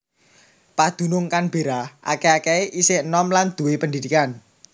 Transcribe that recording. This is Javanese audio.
Padunung Canberra akèh akèhé isih enom lan duwé pendidikan